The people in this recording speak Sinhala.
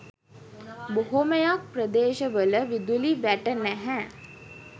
බොහොමයක් ප්‍රදේශවල විදුලි වැට නැහැ.